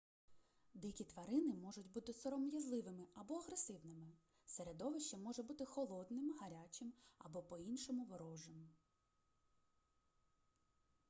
дикі тварини можуть бути сором'язливими або агресивними середовище може бути холодним гарячим або по-іншому ворожим